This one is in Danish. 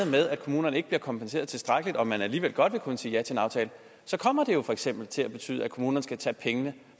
med at kommunerne ikke bliver kompenseret tilstrækkeligt og man alligevel godt vil kunne sige ja til en aftale så kommer det jo for eksempel til at betyde at kommunerne skal tage pengene